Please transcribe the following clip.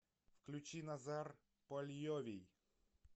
включи назар польовий